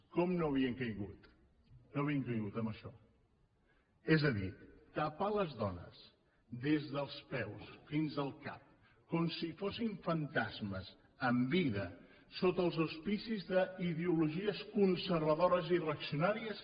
com no havien caigut en això és a dir tapar les dones des dels peus fins al cap com si fossin fantasmes en vida sota els auspicis d’ideologies conservadores i reaccionàries